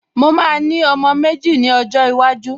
Mo máa ní ọmọ méjì ni ọjọ́ iwájú